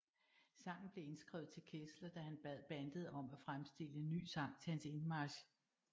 Sangen blev skrevet til Kessler da han bad bandet om at fremstille en ny sang til hans indmarch